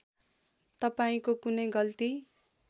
तपाईँको कुनै गल्ती